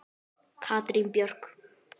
Katrín Björk.